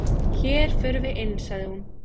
"""Hér förum við inn, sagði hún."""